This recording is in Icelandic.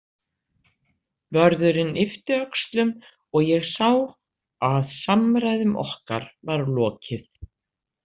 Vörðurinn yppti öxlum og ég sá að samræðum okkar var lokið.